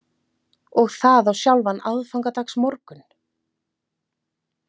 Og það á sjálfan aðfangadagsmorgun?